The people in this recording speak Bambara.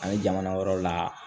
An ye jamana wɛrɛw la